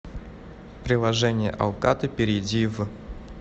приложение алкато перейди в